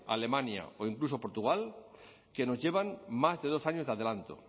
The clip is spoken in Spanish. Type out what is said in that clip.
alemania o incluso portugal que nos llevan más de dos años de adelanto